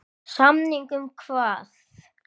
Samning um hvað?